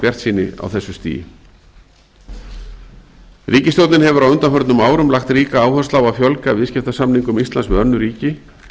bjartsýni á þessu stigi ríkisstjórnin hefur á undanförnum árum lagt ríka áherslu á að fjölga viðskiptasamningum íslands við önnur ríki